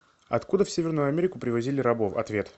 откуда в северную америку привозили рабов ответ